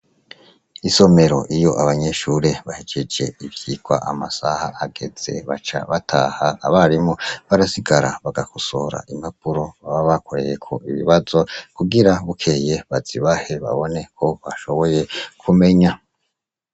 Isomero iyo abanyeshure bahejeje ivyigwa amasaha ageze baca bataha abarimu barasigara bagakosora impapuro baba bakoreyeko ibibazo kugira bukeye bazibahe babone ko bashoboye kumenya.